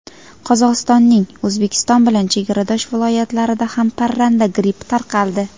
Qozog‘istonning O‘zbekiston bilan chegaradosh viloyatlarida ham parranda grippi tarqaldi.